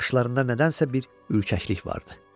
Baxışlarında nədənsə bir ürkəklik vardı.